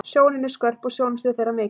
Sjónin er skörp og sjónsvið þeirra mikið.